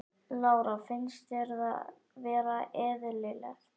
Lára: Finnst þér það vera eðlilegt?